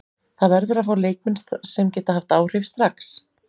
Það verður að fá leikmenn sem geta haft áhrif strax.